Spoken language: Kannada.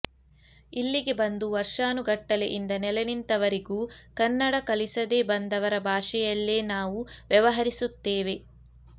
ಇಲ್ಲಿಗೆ ಬಂದು ವರ್ಷಾನುಗಟ್ಟಲೆಯಿಂದ ನೆಲೆ ನಿಂತವರಿಗೂ ಕನ್ನಡ ಕಲಿಸದೆ ಬಂದವರ ಭಾಷೆಯಲ್ಲೇ ನಾವು ವ್ಯವಹರಿಸುತ್ತೇವೆ